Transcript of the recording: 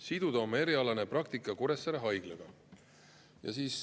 – siduda oma erialane praktika Kuressaare Haiglaga.